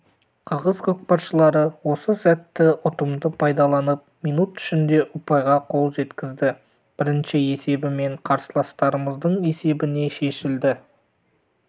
қырғыз көкпаршылары осы сәтті ұтымды пайдаланып минут ішінде ұпайға қол жеткізді бірінші есебімен қарсыластарымыздың есебіне шешілді